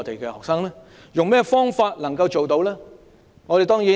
用甚麼方法能夠做到呢？